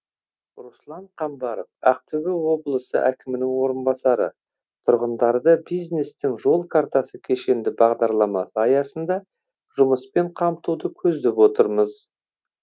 руслан қамбаров ақтөбе облысы әкімінің орынбасары тұрғындарды бизнестің жол картасы кешенді бағдарламасы аясында жұмыспен қамтуды көздеп отырмыз